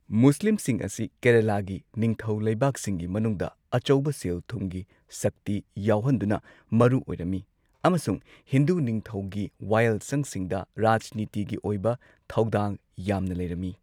ꯃꯨꯁꯂꯤꯝꯁꯤꯡ ꯑꯁꯤ ꯀꯦꯔꯂꯥꯒꯤ ꯅꯤꯡꯊꯧ ꯂꯩꯕꯥꯛꯁꯤꯡꯒꯤ ꯃꯅꯨꯡꯗ ꯑꯆꯧꯕ ꯁꯦꯜ ꯊꯨꯝꯒꯤ ꯁꯛꯇꯤ ꯌꯥꯎꯍꯟꯗꯨꯅ ꯃꯔꯨ ꯑꯣꯏꯔꯝꯃꯤ ꯑꯃꯁꯨꯡ ꯍꯤꯟꯗꯨ ꯅꯤꯡꯊꯧꯒꯤ ꯋꯥꯌꯦꯜꯁꯪꯁꯤꯡꯗ ꯔꯥꯖꯅꯤꯇꯤꯒꯤ ꯑꯣꯏꯕ ꯊꯧꯗꯥꯡ ꯌꯥꯝꯅ ꯂꯩꯔꯝꯃꯤ꯫